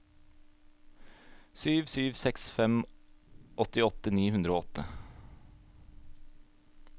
sju sju seks fem åttiåtte ni hundre og åtte